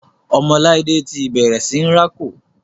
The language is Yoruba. ọmọ laide ti bẹrẹ sìn rá kò.